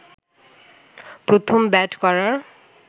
প্রথম ব্যাট করার